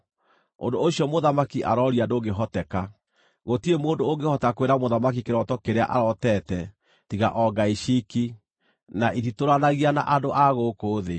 Ũndũ ũcio mũthamaki arooria ndũngĩhoteka. Gũtirĩ mũndũ ũngĩhota kwĩra mũthamaki kĩroto kĩrĩa arootete, tiga o ngai ciiki, na ititũũranagia na andũ a gũkũ thĩ.”